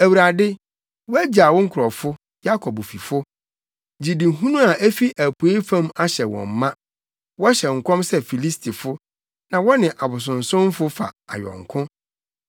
Awurade, woagyaw wo nkurɔfo, Yakob fifo. Gyidihunu a efi apuei fam ahyɛ wɔn ma; wɔhyɛ nkɔm sɛ Filistifo na wɔne abosonsomfo fa ayɔnko.